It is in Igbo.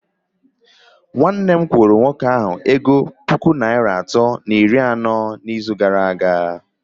Nwanne m kwụrụ nwoke ahụ ego puku naịra atọ na iri anọ n'izu gara aga